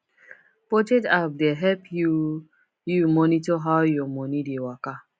budget app dey help you you monitor how your money dey waka